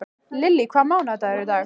Lily, hvaða mánaðardagur er í dag?